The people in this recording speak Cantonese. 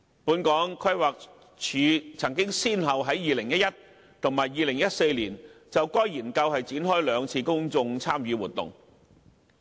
本港規劃署曾先後於2011年及2014年就該研究展開兩次公眾參與活動。